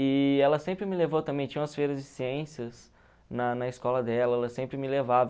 E ela sempre me levou também, tinha umas feiras de ciências na na escola dela, ela sempre me levava.